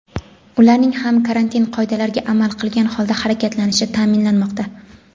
ularning ham karantin qoidalariga amal qilgan holda harakatlanishi ta’minlanmoqda.